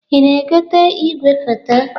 Ị na-egote igwefoto?